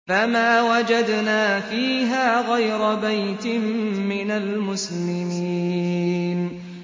فَمَا وَجَدْنَا فِيهَا غَيْرَ بَيْتٍ مِّنَ الْمُسْلِمِينَ